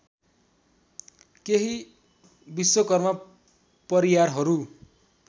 केही विश्वकर्मा परियारहरू